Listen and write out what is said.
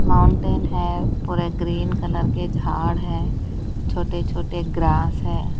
Mountain है पूरे green colour के झाड़ है छोटे छोटे ग्रास है।